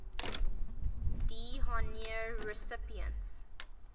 d honneur recipients